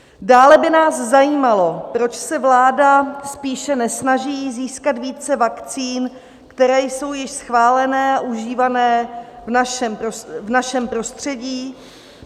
Dále by nás zajímalo, proč se vláda spíše nesnaží získat více vakcín, které jsou již schválené a užívané v našem prostředí.